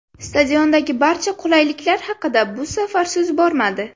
Stadiondagi barcha qulayliklar haqida bu safar so‘z bormadi.